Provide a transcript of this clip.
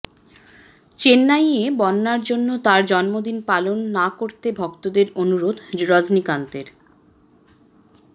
চেন্নাইয়ে বন্যার জন্য তাঁর জন্মদিন পালন না করতে ভক্তদের অনুরোধ রজনীকান্তের